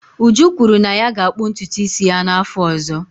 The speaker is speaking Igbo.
Uju kwuru na ya ga-akpụ ntutu isi ya n'afọ ọzọ.